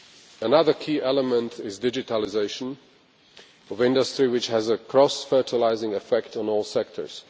Another key element is the digitalisation of industry, which has a cross fertilising effect on all sectors.